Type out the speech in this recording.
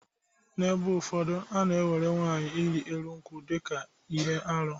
N’ebe ụfọdụ, a na-ewere nwaanyị ịrị elu nkwụ dị ka ihe arụ.